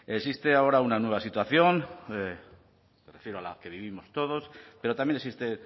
existe ahora una nueva situación me refiero a la que vivimos todos pero también existe